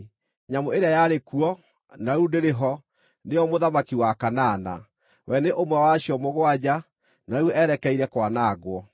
Nyamũ ĩrĩa yarĩ kuo, na rĩu ndĩrĩ ho, nĩyo mũthamaki wa kanana. We nĩ ũmwe wa acio mũgwanja, na rĩu erekeire kwanangwo.